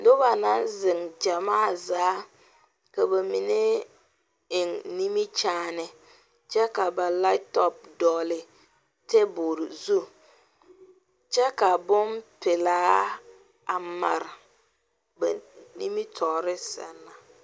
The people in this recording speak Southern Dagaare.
Noba naŋ zeŋ gyamaa zaa ka ba mine eŋ nimikyaane kyɛ ba laptop dɔgeli tabol zu kyɛ ka bonpelaa a mare ba nimitɔre seŋ na